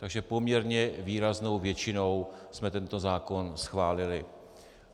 Takže poměrně výraznou většinou jsme tento zákon schválili.